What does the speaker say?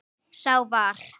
Sá var